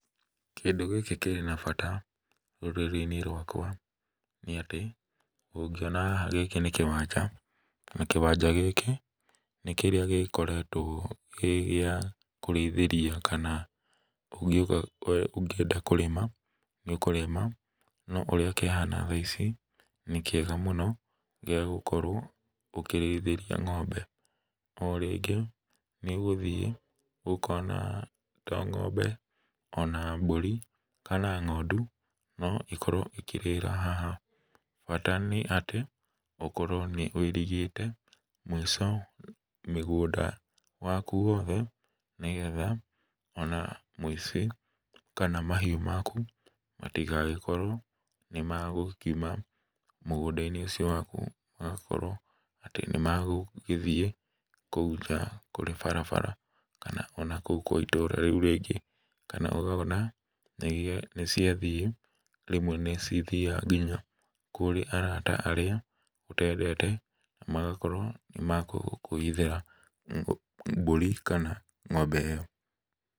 Kĩndũ gĩkĩ kĩrĩ na bata rũrĩrĩinĩ rwakwa nĩ atĩ, ũngĩona gĩkĩ nĩ kĩwanja na kĩwanja nĩ kĩrĩa gĩkoretwo gĩa kũrĩithĩria kana ũkĩenda kũrĩma nĩ ũkũrĩma na ũrĩa kĩhana thaa ici nĩ kĩega mũno gĩa gũkorwo ũkĩrĩithĩria ng'ombe. O rĩngĩ nĩ ũgũthiĩ ũkona to ng'ombe ona mbũri kana ng'ondu no ikorwo ikĩrĩra haha bata nĩ atĩ ũkorwo nĩ wũirigĩte mũico mĩgũnda wa ku wothe ona mũico kana mahiũ maku matigagĩkorwo nĩ makuma mũgũnda-inĩ ũcio waku, makorwo nĩ magũgĩthiĩ kũu nja kũrĩ barabara kana kũrĩ ndũrĩrĩ iria ingĩ kana ũkona nĩ cia thiĩ, rĩmwe nĩ cia thiaga nginya kũrĩ arata arĩa ũtendete na magakorwo nĩ makũhithĩra mbũri kana ng'ombe ĩyo.